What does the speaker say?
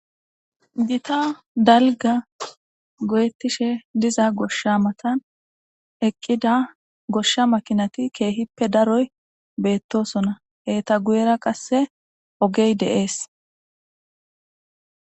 gita dalga goyettishe diza goshsha matan eqqida goshsha makinati keehippe daroy beettosona heeta guyera qasse ogey deees